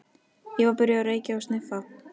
Ég var byrjuð að reykja og sniffa.